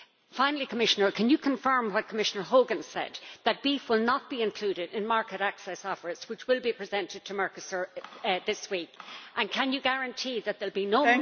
Finally, Commissioner, can you confirm what Commissioner Hogan said that beef will not be included in market access offers which will be presented to Mercosur this week, and can you guarantee that there will be no